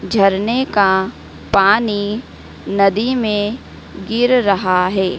झरने का पानी नदी में गिर रहा हैं।